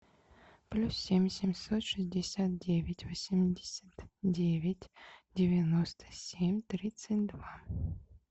плюс семь семьсот шестьдесят девять восемьдесят девять девяносто семь тридцать два